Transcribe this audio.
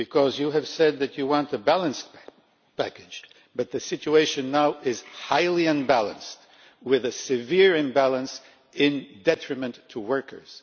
You have said that you want a balanced package, but the situation now is highly unbalanced with a severe imbalance to the detriment of workers.